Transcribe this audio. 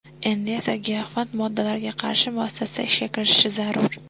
Endi esa giyohvand moddalarga qarshi muassasa ishga kirishishi zarur.